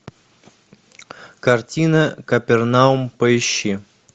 картина капернаум поищи